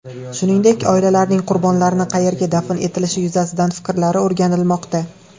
Shuningdek, oilalarning qurbonlarni qayerga dafn etilishi yuzasidan fikrlari o‘rganilmoqda.